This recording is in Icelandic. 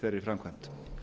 þeirri framkvæmd